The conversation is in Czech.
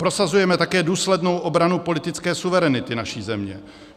Prosazujeme také důslednou obranu politické suverenity naší země.